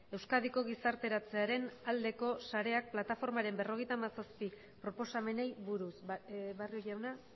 euskadiko gizarteratzearen aldeko sareak plataformaren berrogeita hamazazpi proposamenei buruz barrio jauna